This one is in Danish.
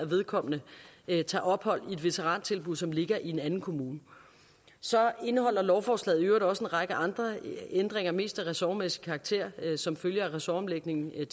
vedkommende tager ophold i et veterantilbud som ligger i en anden kommune så indeholder lovforslaget i øvrigt også en række andre ændringer mest af ressortmæssig karakter som følge af ressortomlægningen ved